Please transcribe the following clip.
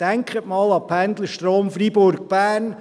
Denken Sie einmal an den Pendlerstrom Fribourg–Bern.